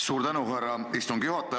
Suur tänu, härra istungi juhataja!